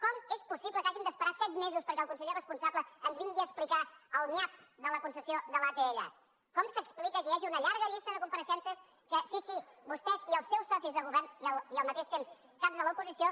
com és possible que hàgim d’esperar set mesos perquè el conseller responsable ens vingui a explicar el nyap de la concessió de l’atll com s’explica que hi hagi una llarga llista de compareixences que sí sí vostès i els seus socis de govern i al mateix temps caps de l’oposició